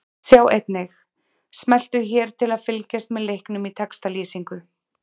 Sjá einnig: Smelltu hér til að fylgjast með leiknum í textalýsingu